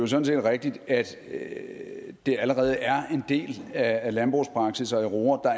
sådan set rigtigt at det allerede er en del af landbrugspraksis at i roer